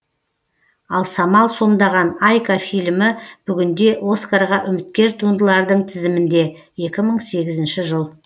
ал самал сомдаған айка фильмі бүгінде оскарға үміткер туындылардың тізімінде екі мың сегізінші жыл